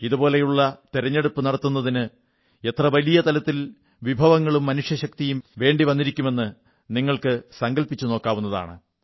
ഇതുപോലെയുള്ള തിരഞ്ഞെടുപ്പ് നടത്തുന്നതിന് എത്ര വലിയ തലത്തിൽ വിഭവങ്ങളും മനുഷ്യശക്തിയും വേണ്ടിവന്നിരിക്കുമെന്ന് നിങ്ങൾക്ക് സങ്കല്പിച്ചു നോക്കാവുന്നതാണ്